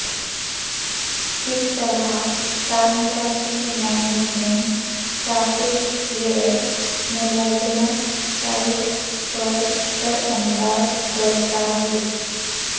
کس طرح تعمیراتی مینجمنٹ سافٹ ویئر ملازمت سائٹ پر اثر انداز کرتا ہے